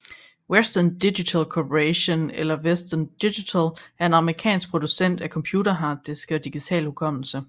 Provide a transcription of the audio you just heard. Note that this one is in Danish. Western Digital Corporation eller Western Digital er en amerikansk producent af computerharddiske og digital hukommelse